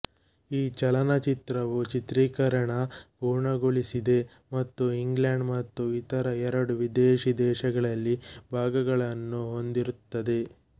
ಈ ಚಲನಚಿತ್ರವು ಚಿತ್ರೀಕರಣ ಪೂರ್ಣಗೊಳಿಸಿದೆ ಮತ್ತು ಇಂಗ್ಲೆಂಡ್ ಮತ್ತು ಇತರ ಎರಡು ವಿದೇಶಿ ದೇಶಗಳಲ್ಲಿ ಭಾಗಗಳನ್ನು ಹೊಂದಿರುತ್ತದೆ